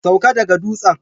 Sauka daga dutsen